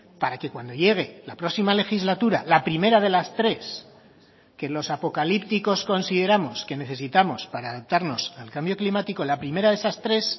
para que cuando llegue la próxima legislatura la primera de las tres que los apocalípticos consideramos que necesitamos para adaptarnos al cambio climático la primera de esas tres